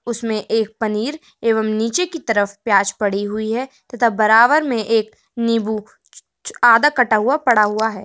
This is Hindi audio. इसमें एक पनीर एव नीचे की तरफ प्याज पड़ी हुई है तथा बराबर में एक नीबू आधा कटा हुआ पड़ा हुआ है।